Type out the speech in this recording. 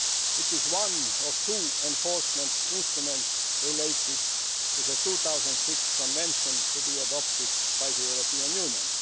It is one of two enforcement instruments related to the 2006 Convention to be adopted by the European Union.